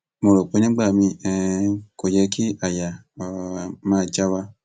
mo rò pé nígbà miín um kò yẹ kí àyà um máa já wa